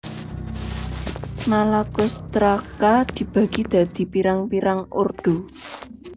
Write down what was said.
Malacostraca dibagi dadi pirang pirang ordo